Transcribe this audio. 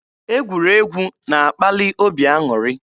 Egwuregwu na-akpali obi aṅụrị.